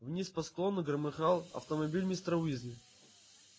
вниз по склону громыхал автомобиль мистера уизли